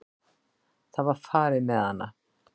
Það var farið með hana.